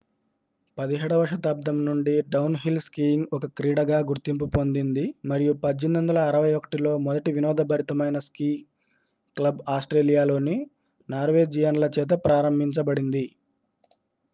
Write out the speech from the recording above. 17వ శతాబ్దం నుండి downhill skiing ఒక క్రీడగా గుర్తింపు పొందింది మరియు 1861లో మొదటి వినోదభరితమైన స్కీ క్లబ్ ఆస్ట్రేలియాలోని నార్వేజియన్ల చేత ప్రారంభించబడింది